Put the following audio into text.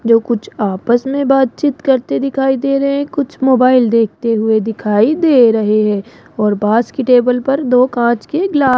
जो कुछ आपस में बातचीत करते दिखाई दे रहे हैं। कुछ मोबाइल देखते हुए दिखाई दे रहे हैं और पास की टेबल पर दो कांच के ग्ला--